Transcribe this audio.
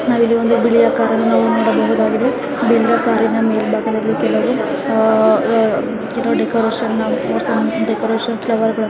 ನಾವು ಇಲ್ಲಿ ಒಂದು ಬಿಳಿಯ ಕಾರನ್ನು ನೋಡಬಹುದಾಗಿದೆ ಹಾಗೆ ಕಾರಿನ ಮುಂಬಾಗದಲ್ಲಿ ಕೆಲವು ಒಂದು ಡೆಕೋರೇಷನ್ ಅನ್ನ ಮಾಡಿದ್ದಾರೆ ಡೆಕೋರೇಷನ್ ಫ್ಲವರಿಂದ --